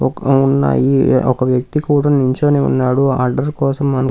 ఒక ఉన్నాయి ఒక వ్యక్తి కూడా నించొని ఉన్నాడు అడ్రెస్స్ కోసం అను --